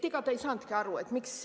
Ega ta ei saanudki aru, miks.